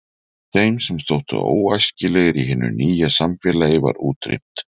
Þeim sem þóttu óæskilegir í hinu nýja samfélagi var útrýmt.